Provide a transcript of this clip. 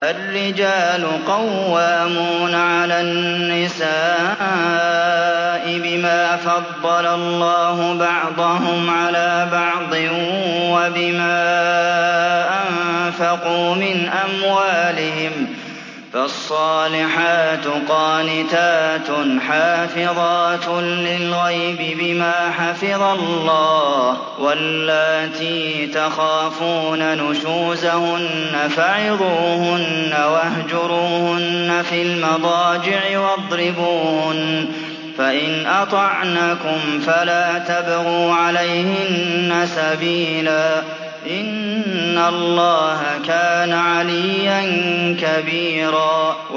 الرِّجَالُ قَوَّامُونَ عَلَى النِّسَاءِ بِمَا فَضَّلَ اللَّهُ بَعْضَهُمْ عَلَىٰ بَعْضٍ وَبِمَا أَنفَقُوا مِنْ أَمْوَالِهِمْ ۚ فَالصَّالِحَاتُ قَانِتَاتٌ حَافِظَاتٌ لِّلْغَيْبِ بِمَا حَفِظَ اللَّهُ ۚ وَاللَّاتِي تَخَافُونَ نُشُوزَهُنَّ فَعِظُوهُنَّ وَاهْجُرُوهُنَّ فِي الْمَضَاجِعِ وَاضْرِبُوهُنَّ ۖ فَإِنْ أَطَعْنَكُمْ فَلَا تَبْغُوا عَلَيْهِنَّ سَبِيلًا ۗ إِنَّ اللَّهَ كَانَ عَلِيًّا كَبِيرًا